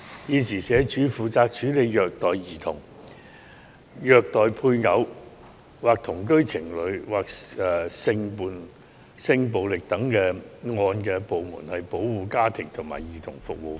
現時，社署負責處理虐待兒童、虐待配偶/同居情侶或性暴力等個案的部門是保護家庭及兒童服務課。